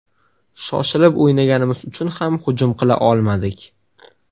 Shoshilib o‘ynaganimiz uchun ham hujum qila olmadik.